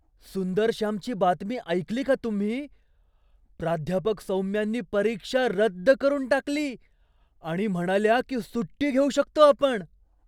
सुंदरश्यामची बातमी ऐकली का तुम्ही? प्राध्यापक सौम्यांनी परीक्षा रद्द करून टाकली आणि म्हणाल्या की सुट्टी घेऊ शकतो आपण!